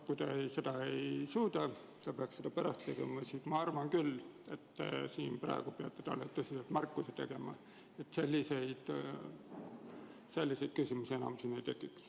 Kui Mart Helme seda ei suuda – ta peaks seda pärast tegema –, siis ma arvan küll, et peate talle tõsise märkuse tegema, et selliseid küsimusi enam siin ei esitataks.